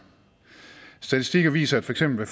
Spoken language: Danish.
statistikker viser at for eksempel